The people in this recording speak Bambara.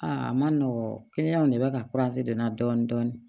Aa a ma nɔgɔn ne bɛ ka de na dɔɔnin dɔɔnin